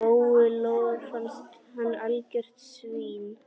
Lóu-Lóu fannst hann algjört svín.